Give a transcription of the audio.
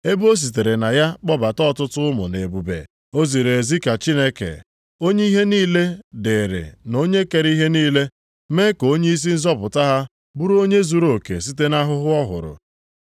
Ebe e sitere na ya kpọbata ọtụtụ ụmụ nʼebube, o ziri ezi ka Chineke, onye ihe niile dịrị na onye kere ihe niile, mee ka onyeisi nzọpụta ha bụrụ onye zuruoke site nʼahụhụ ọ hụrụ.